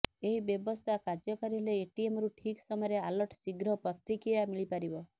ଏହି ବ୍ୟବସ୍ଥା କାର୍ଯ୍ୟକାରୀ ହେଲେ ଏଟିଏମରୁ ଠିକ୍ ସମୟରେ ଆଲର୍ଟ ଶୀଘ୍ର ପ୍ରତିକ୍ରିୟା ମିଳିପାରିବ